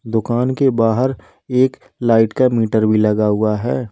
दुकान के बाहर एक लाइट का मीटर भी लगा हुआ है।